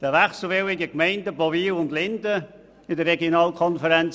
Den wechselwilligen Gemeinden Bowil und Linden der Regionalkonferenz